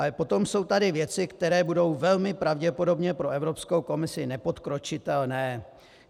Ale potom jsou tady věci, které budou velmi pravděpodobně pro Evropskou komisi nepodkročitelné.